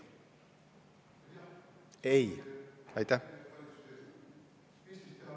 Ei!